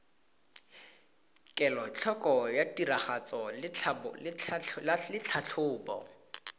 kelotlhoko ya tiragatso le tlhatlhobo